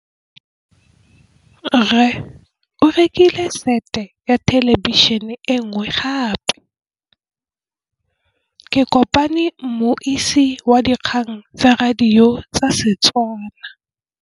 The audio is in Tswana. Rre o rekile sete ya thêlêbišênê e nngwe gape. Ke kopane mmuisi w dikgang tsa radio tsa Setswana.